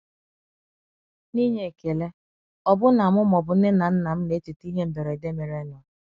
Na inye ekele, ọbụna mụ ma ọbụ nne na nnam na echeta ihe mberede merenụ.